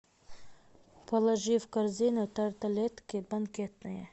положи в корзину тарталетки банкетные